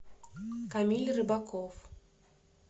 камиль рыбаков